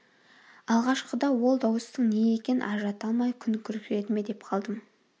алғашқыда ол дауыстың не екенін ажырата алмай күн күркіреді ме деп қалдым